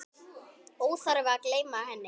Óþarfi að gleyma henni!